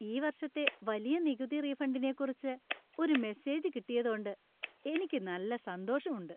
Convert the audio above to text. ഈ വർഷത്തെ വലിയ നികുതി റീഫണ്ടിനെക്കുറിച്ച് ഒരു മെസേജ് കിട്ടിയതോണ്ട് എനിക്ക് നല്ല സന്തോഷമുണ്ട് .